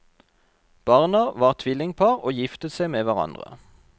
Barna var tvillingpar og giftet seg med hverandre.